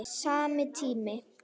Sami tími.